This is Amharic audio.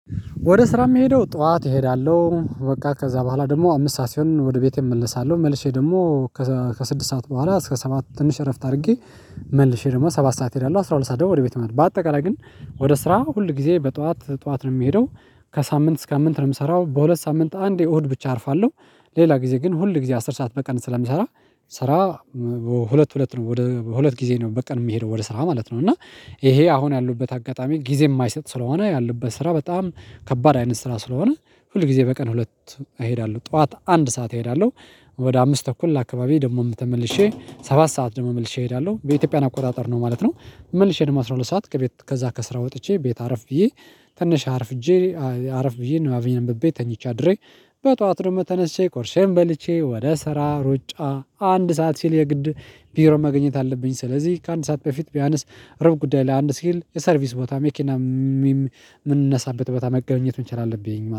ወደ ስራ የሚሄደው ጠዋት እሄዳለሁ በቃ ከዛ በኋላ ደግሞ አምስት ሰዓት ሲሆን ወደ ቤቴ እመለሳለሁ መልሼ ደግሞ ከዛ ከስድስት ሰዓት በኋላ እስከ ሰባት ትንሽ እረፍት አድርጌ መልሼ ደግሞ ሰባት ሰዓት እሄዳለሁ አስራ ሁለት ሰዓት ደግሞ ወደ ቤት መሄድ በአጠቃላይ ግን ወደ ስራ ሁል ጊዜ በጠዋት ጠዋት ነው የምሄደው። ከሳምንት እስከ አምንት ነው የምሰራው በሁለት ሳምንት አንድ እሁድ ብቻ አርፋለሁ። ሌላ ጊዜ ግን ሁል ጊዜ አስር ሰዓት በቀን ስለምሰራ። ስራ ሁለት ሁለት ነው ወደ ሁለት ጊዜ ነው በቀን የምሄደው ወደ ስራ ማለት ነው። እና ይሄ አሁን ያሉበት አጋጣሚ ጊዜ የማይሰጥ ስለሆነ ያለበት ስራ በጣም ከባድ አይነት ስራ ስለሆነ ሁል ጊዜ በቀን ሁለት እሄዳለሁ ጠዋት አንድ ሰዓት እሄዳለሁ ወደ አምስት ተኩል አካባቢ ደግሞም ተመልሼ ሰባት ሰዓት ደግሞ መልሼ እሄዳለሁ በኢትዮጵያን አቆጣጠር ነው ማለት ነው። መልሼ ደግሞ አስራ ሁለት ሰዓት ከቤት ከዛ ከስራ ወጥቼ ቤት አረፍ ብዬ ትንሽ አርፍጄ አርፍብዬ ነባቤን እንብቤ ተኝቻ አድሬ በጧት ደም ተነስቼ ቁርሴን በልቼ ወደ ስራ ሩጫ አንድ ሰዓት ሲል የግድ ቢሮ መገኘት አለብኝ። ስለዚህ ከአንድ ሰዓት በፊት ቢያንስ ሩብ ጉዳይ ለአንድ ሲል የሰርቪስ ቦታ መኪናም ሚም ምንነሳበት ቦታ መገኘት መቻል አለብኝ